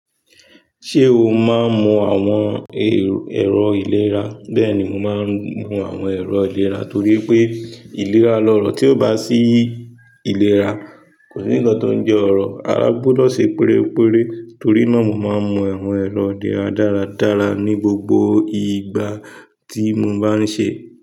Ṣé o máa ń mu àwọn ẹ̀rọ ìlera? Bẹ́ẹ̀ni, mo máa ń mu àwọn èrò ìlera torí pé ìlera lọ̀rọ̀ tí ó bá sí ìlera, kò sí ǹkan tó ń jẹ ọ̀rọ̀, ara gbọ́dọ̀ ṣe pérépéré. Torí náà mo máa ń mu àwọn ẹ̀rọ ìlera dáradára ní gbogbo ìgbà tí mo bá ń ṣe.